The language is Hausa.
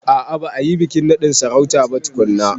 A a ba a yi bikin naɗin sarautar ba tukunna.